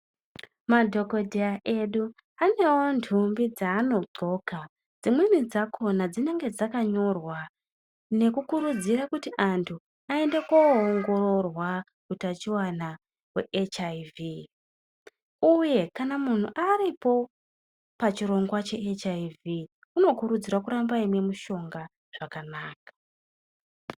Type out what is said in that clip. Madhogodheya edu anevo nthumbi dzaanodhloka dzimweni dzakona dzinenge dzakanyorwa nekukurudzira kuti antu aende koongororwa hutachivana hwe hiv, uye kana muntu aripo pachirongwa che hiv unokurudzirwa kuramba aimwe mishonga zvakanaka.